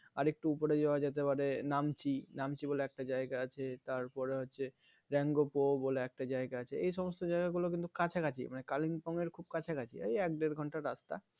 আরেকটু উপরে যাওয়া যেতে পারে Namchi, Namchi বলে একটা জায়গা আছে তার পরে হচ্ছে Rengopo বলে একটা জায়গা আছে এই সমস্ত জায়গা গুলো কিন্তু কাঁচা কাছি মানে Kalimpong এর খুব কাছা কছি ওই এক দেড় ঘন্টার রাস্তা